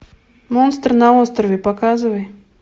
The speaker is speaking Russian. монстр на острове показывай